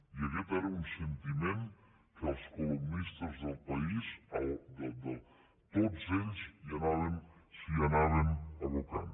i aquest era un sentiment que els columnistes del país tots ells s’hi anaven abocant